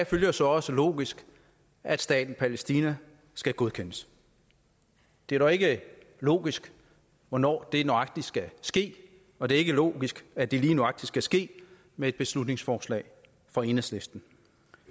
følger så også logisk at staten palæstina skal godkendes det er dog ikke logisk hvornår det nøjagtig skal ske og det er ikke logisk at det lige nøjagtig skal ske med et beslutningsforslag fra enhedslisten